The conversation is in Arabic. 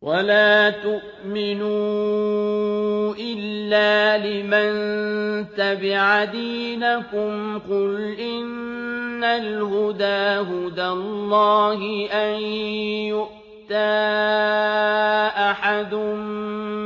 وَلَا تُؤْمِنُوا إِلَّا لِمَن تَبِعَ دِينَكُمْ قُلْ إِنَّ الْهُدَىٰ هُدَى اللَّهِ أَن يُؤْتَىٰ أَحَدٌ